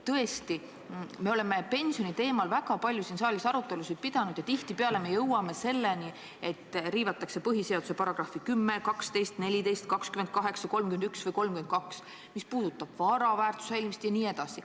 Tõesti, me oleme pensioni teemal siin saalis väga palju arutelusid pidanud ja tihtipeale oleme jõudnud välja selleni, et riivatakse põhiseaduse § 10, 12, 14, 28, 31 või 32, mis puudutab vara väärtuse säilimist jne.